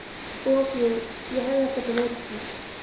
Og jú, ég hafði ekkert á móti því.